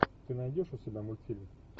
ты найдешь у себя мультфильм